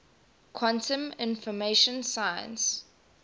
quantum information science